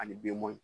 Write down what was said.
Ani denmɔn